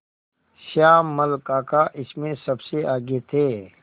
श्यामल काका इसमें सबसे आगे थे